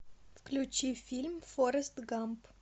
включи фильм форрест гамп